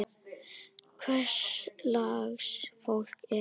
Hvers lags fólk er þetta?